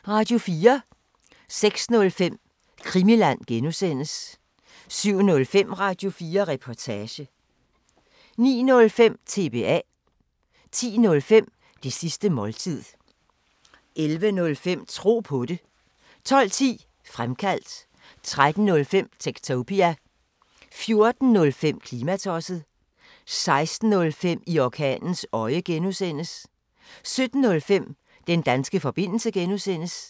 06:05: Krimiland (G) 07:05: Radio4 Reportage 09:05: TBA 10:05: Det sidste måltid 11:05: Tro på det 12:10: Fremkaldt 13:05: Techtopia 14:05: Klimatosset 16:05: I orkanens øje (G) 17:05: Den danske forbindelse (G)